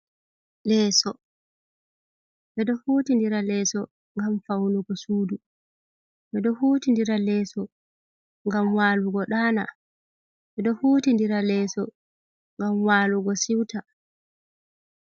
Leeso: Ɓeɗo hutindira leeso ngam faunugo sudu, ɓedo hutindira leeso ngam walugo ɗaana, ɓedo hutindira leeso ngam walugo siuta.